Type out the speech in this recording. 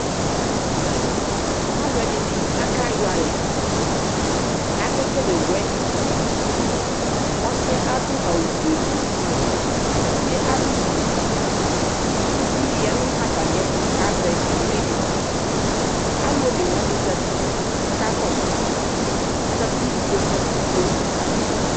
Alʋɛdini akayɔ alɛ, akekele wɛdiŋ Ɔsi yɛ adʋ awʋ fue gblʋ, uvie adʋ suitʋ Uvi di ya nʋ atami ɛtʋ kʋ azɛ ivli di Alʋ one wani zati kʋ akakɔsʋ Azati nʋ ikpoku fue ava